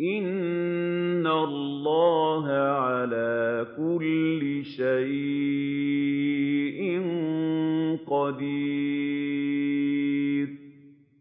إِنَّ اللَّهَ عَلَىٰ كُلِّ شَيْءٍ قَدِيرٌ